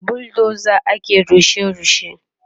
da buldoza ake rushe rushe